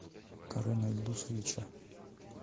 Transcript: карена ильдусовича